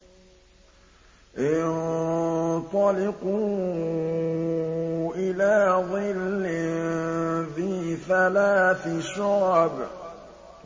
انطَلِقُوا إِلَىٰ ظِلٍّ ذِي ثَلَاثِ شُعَبٍ